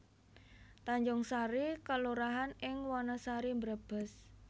Tanjungsari kelurahan ing Wanasari Brebes